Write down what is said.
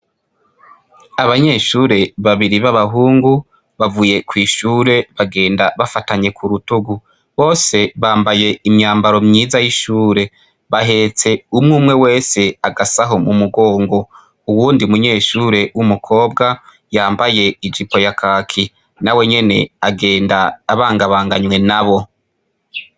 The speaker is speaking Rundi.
Abanyeshure babiri babahungu bavuye kw' ishure bagenda bafatanye kurutugu bose bambay' imyambaro myiza y' ishure bahets' umwe umwe wes' agasaho mu mugongo, uwundi munyeshure w' umukobwa yambay' ijipo ya kaki nawe nyen' agend' abanga banganywe nabo.